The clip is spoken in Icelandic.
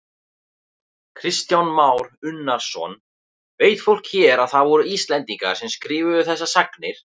Kristján Már Unnarsson: Veit fólk hér að það voru Íslendingar sem skrifuðu þessar sagnir?